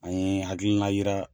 An ye hakilina yira